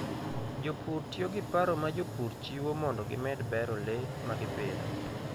Jopur tiyo gi paro ma jopur chiwo mondo gimed bero le ma gipidho.